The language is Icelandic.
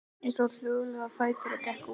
Ég stóð hljóðlega á fætur og gekk út.